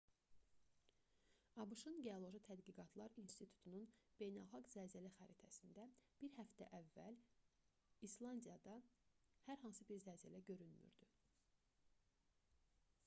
abş-ın geoloji tədqiqatlar i̇nstitutunun beynəlxalq zəlzələ xəritəsində bir həftə əvvəl i̇slandiyada hər hansı bir zəlzələ görünmürdü